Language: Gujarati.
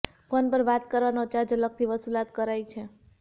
ફોન પર વાત કરાવવાનો ચાર્જ અલગથી વસૂલાત કરાઈ છે